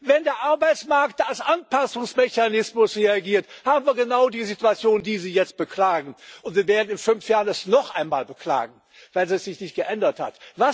Wenn der Arbeitsmarkt als Anpassungsmechanismus reagiert, haben wir genau die Situation, die Sie jetzt beklagen, und wir werden das in fünf Jahren noch einmal beklagen, weil es sich nicht geändert